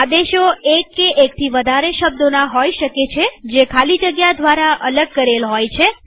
આદેશો એક કે એકથી વધારે શબ્દોના હોય શકે જે ખાલી જગ્યા દ્વારા અલગ કરેલ હોય છે